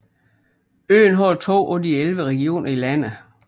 Øen har to af de elleve regioner i landet